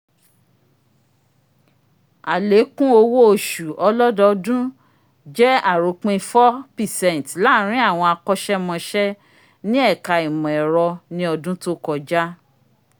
alèkùn òwò oṣù ọlọdọọdun jẹ aropin four percent laarin awọn akọsẹmọse ni eka imọ-ẹrọ ni ọdun to kọja